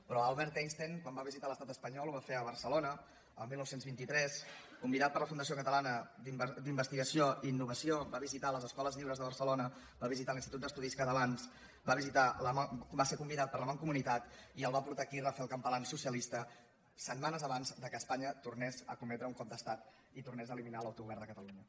però albert einstein quan va visitar l’estat espanyol ho va fer a barcelona el dinou vint tres convidat per la fundació catalana d’investigació i innovació va visitar les escoles lliures de barcelona va visitar l’institut d’estudis catalans va ser convidat per la mancomunitat i el va portar aquí rafael campalans socialista setmanes abans que espanya tornés a cometre un cop d’estat i tornés a eliminar l’autogovern de catalunya